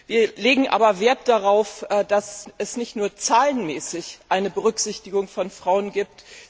Wir legen aber Wert darauf, dass es nicht nur zahlenmäßig eine Berücksichtigung von Frauen gibt.